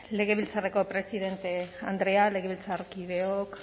legebiltzarreko presidente andrea legebiltzarkideok